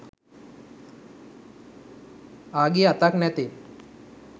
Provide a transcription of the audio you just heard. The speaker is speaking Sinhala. ආගිය අතක් නැතේ